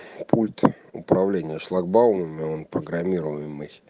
пульт управления шлагбаумами он программируемый